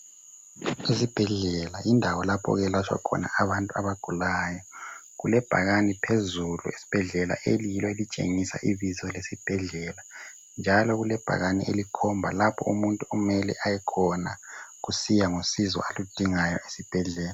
Izibhedlela yindawo lapho okuyelatshwa khona abantu abagulayo, kulebhakani phezulu esibhedlela eliyilo elitshengisa ibizo lesibhedlela njalo kulebhakane elikhomba lapho umuntu okumele ayekhona kusiya ngosizo alundingayo esibhedlela.